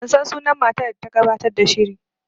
Ban san sunan matar da ta gabatar da shirin